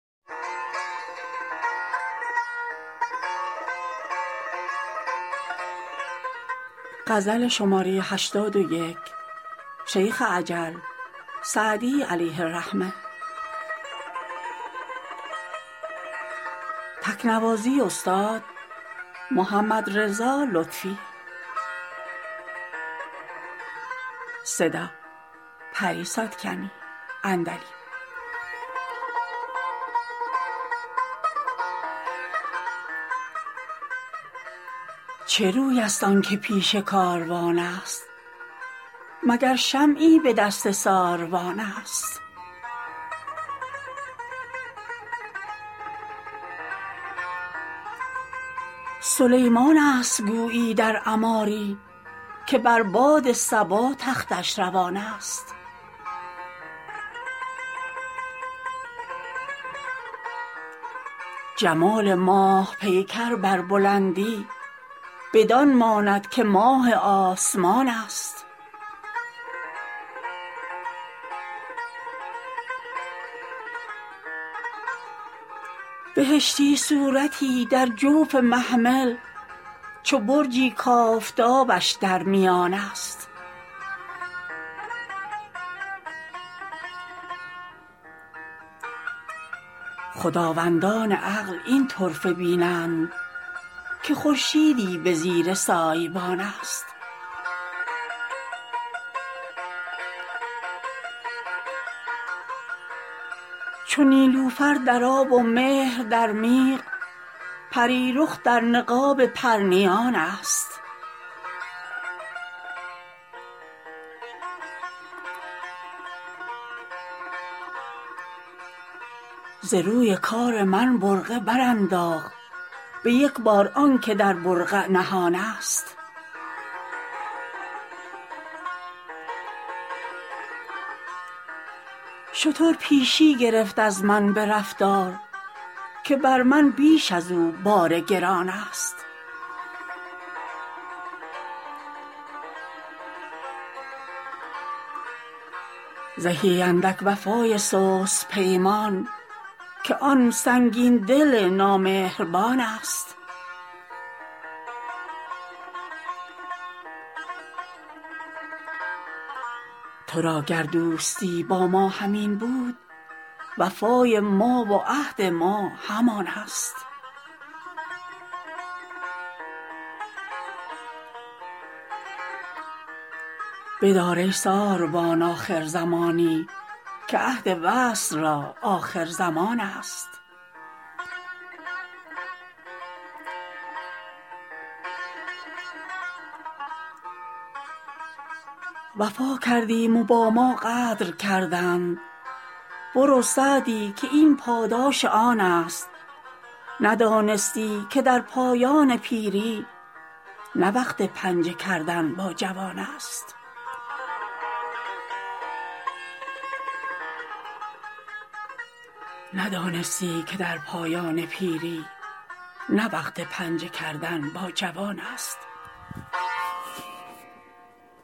چه روی است آن که پیش کاروان است مگر شمعی به دست ساروان است سلیمان است گویی در عماری که بر باد صبا تختش روان است جمال ماه پیکر بر بلندی بدان ماند که ماه آسمان است بهشتی صورتی در جوف محمل چو برجی کآفتابش در میان است خداوندان عقل این طرفه بینند که خورشیدی به زیر سایبان است چو نیلوفر در آب و مهر در میغ پری رخ در نقاب پرنیان است ز روی کار من برقع برانداخت به یک بار آن که در برقع نهان است شتر پیشی گرفت از من به رفتار که بر من بیش از او بار گران است زهی اندک وفای سست پیمان که آن سنگین دل نامهربان است تو را گر دوستی با ما همین بود وفای ما و عهد ما همان است بدار ای ساربان آخر زمانی که عهد وصل را آخرزمان است وفا کردیم و با ما غدر کردند برو سعدی که این پاداش آن است ندانستی که در پایان پیری نه وقت پنجه کردن با جوان است